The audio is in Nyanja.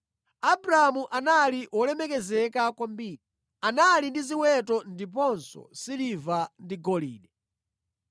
Abramu anali wolemera kwambiri; anali ndi ziweto ndiponso siliva ndi golide.